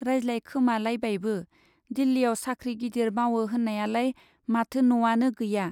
रायज्लायखोमालायबायबो, दिल्लीयाव साख्रि गिदिर मावो होन्नायालाय माथो न' आनो गैया ?